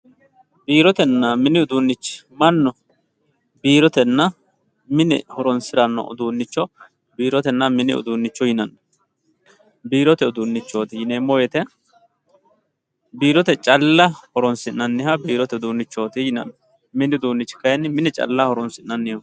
biirotenna mini uduunichi mannu biirotenna mine horonsiranno uduunicho biirotenna mini uduunicho yinanni biirote uduunichooti yineemo woyiite biirote calla horonsi'naniho yaate mini uduunichi kaayiini mine calla horonsi'naniho.